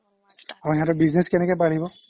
হ্য় সিহতে business কেনেকে পাৰিব